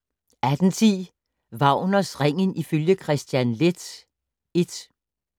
18:10: Wagners Ringen ifølge Kristian Leth I